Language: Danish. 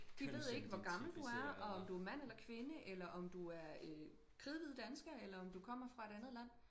De ved ikke hvor gammel du er og om du mand eller kvinde eller om du er øh kridhvid dansker eller om du kommer fra et andet land